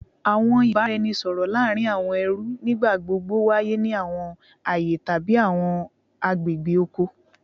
Awọn ibaraẹnisọrọ laarin awọn ẹrú nigbagbogbo waye ni awọn aaye tabi awọn agbegbe oko